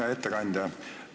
Hea ettekandja!